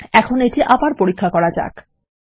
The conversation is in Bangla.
এখন এটি আবার পরীক্ষা করা যাক